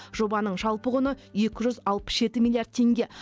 жобаның жалпы құны екі жүз алпыс жеті миллиард теңге